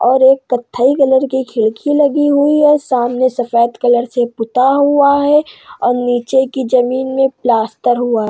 और एक कथई कलर की खिड़की लगी हुई है सामने सफ़ेद कलर से पुता हुआ है और नीचे के जमीन में प्लास्टर हुआ है।